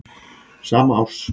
sama árs.